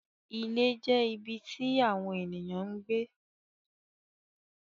Ìlẹ̀ jẹ́ ibí tí awọn ènìyàn ń gbẹ.